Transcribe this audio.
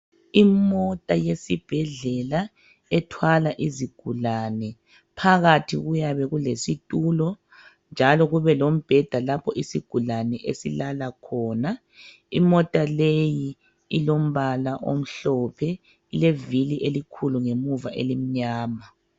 Imota yesibhedlela ethwala izigulane. Phakathi kuyabe kulesitulo njalo kube lombheda lapho isigulane esilala khona. Imota leyi ilombala omhlophe ilevili elikhulu ngemuva elimnyama.